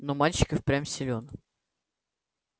но мальчик и впрямь силён